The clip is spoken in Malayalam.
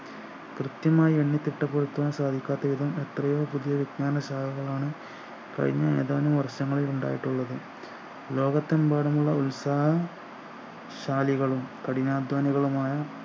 കൃത്യമായി എണ്ണിത്തിട്ടപ്പെടുത്താൻ സാധിക്കാത്ത ഏതും എത്രയോ പുതിയ വിജ്ഞാന ശാഖകളാണ് കഴിഞ്ഞ ഏതാനും വർഷങ്ങളിൽ ഉണ്ടായിട്ടുള്ളത് ലോകത്തെമ്പാടുമുള്ള ഉത്സാഹ ശാലികളും കഠിനാധ്വാനികളുമായ